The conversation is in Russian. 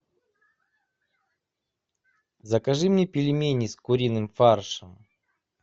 закажи мне пельмени с куриным фаршем